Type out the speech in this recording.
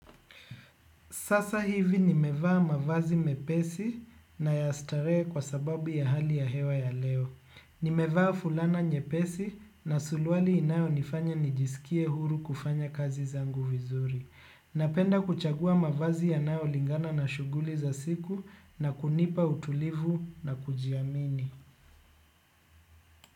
Sasa hivi nimevaa mavazi mepesi na ya starehe kwa sababu ya hali ya hewa ya leo. Nimevaa fulana nyepesi na surwali inayonifanya nijisikie huru kufanya kazi zangu vizuri. Napenda kuchagua mavazi yanayolingana na shuguli za siku na kunipa utulivu na kujiamini.